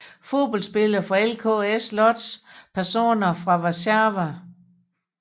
Fodboldspillere fra LKS Łódź Personer fra Warszawa